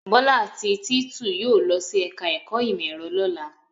Bọ́lá àti Títù yóò lọ sí ẹ̀ka-ẹ̀kọ́ ìmọ̀-ẹ̀rọ lọ́la.